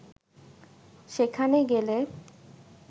সেখানে গেলে